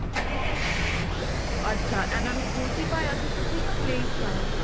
ਅੱਛਾ ਇਹਨਾ ਨੂੰ ਸਕੂਲ ਚ ਹੀ ਪਾਇਆ ਸੀ ਤੁਸੀਂ ਜਾ play ਵਿੱਚ ਪਾਇਆ ਸੀ